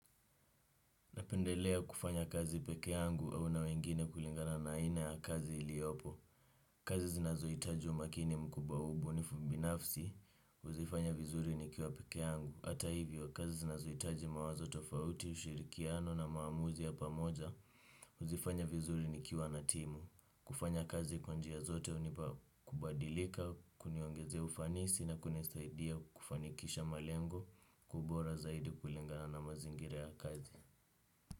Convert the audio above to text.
Napendelea kufanya kazi peke yangu au na wengine kulingana na aina ya kazi iliyopo. Kazi zinazohitaji umakini mkubwa ubunifu binafsi, uzifanya vizuri ni kiwa peke yangu. Ata hivyo, kazi zinazohitaji mawazo tofauti, ushirikiano na maamuzi ya pamoja, uzifanya vizuri ni kiwa natimu. Kufanya kazi kwanjia zote unipa kubadilika, kuniongezea ufanisi na kunisaidia kufanikisha malengo, kwa ubora zaidi kulingana na mazingira ya kazi.